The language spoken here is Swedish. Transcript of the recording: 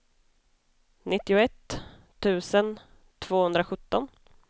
nittioett tusen tvåhundrasjutton